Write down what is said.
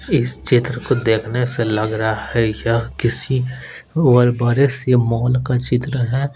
इस चित्र को देखने से लग रहा है यह किसी बहुत बड़े से मॉल का चित्र है।